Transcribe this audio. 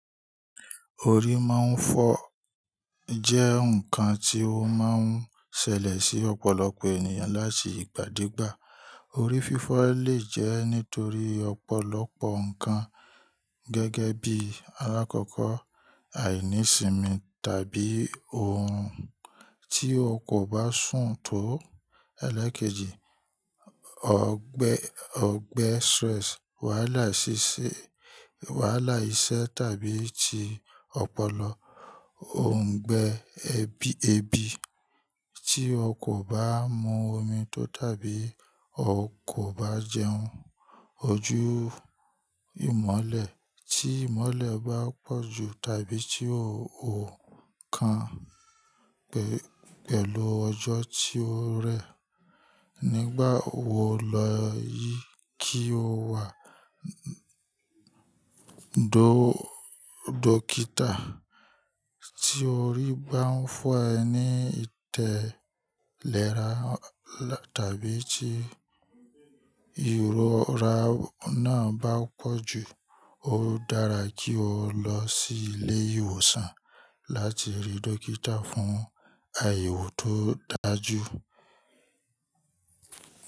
Orí máa ń fọ jẹ́ nǹkan tí ó máa ń ṣẹlẹ̀ sí ọ̀pọ̀lọpọ̀ ènìyàn láti ìgbàdégbà. Orí fífọ́ lè jẹ́ nítorí ọ̀pọ̀lọpọ̀ ǹkan gẹ́gẹ́ bí alákọ̀ọ́kọ́ àìnísimi tàbí ohun tí o kò bá sùn tó ẹlẹ́kejì, ọgbẹ ọgbẹ stress, wàhálà ṣíṣe, wàhálà iṣẹ́ tàbí ti ọpọlọ, òǹgbẹ ebi ebi, tí o kò bá mu omi tó tàbí o kò bá jẹun, ojú ìmọ́lẹ̀ tí ìmọ́lẹ̀ bá pọ̀jù tàbí tí o ò kan pẹ̀lú ọjọ́ tí ó rẹ̀. Nígbà wo lọ yìí kí o wá dó dókítà tí orí bá ń fọ́ ẹ ní ìtẹ̀ lẹ́ra tàbí tí ìrora náà bá pọ̀jù. Ó dára kí o lọ sí ilé ìwòsàn láti rí dókítà fún àyẹ̀wò tó dájú.